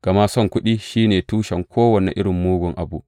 Gama son kuɗi shi ne tushen kowane irin mugun abu.